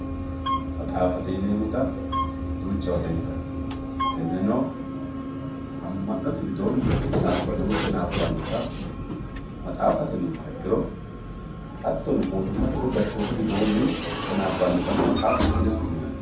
maxaafate yineemota duuchawa beenkanni tenneno ama'note widooni qixaabano woye qinaabbanota maxaafate yinumoha ikkiro hattono moyuummate woye gashshootu widoonni qinaabbanotano maxaafate yine su'minanni.